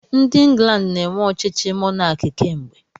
Ndị England na-eme ọchịchị mọnaki kemgbe.